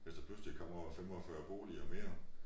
Hvis der pludselig kommer 45 boliger mere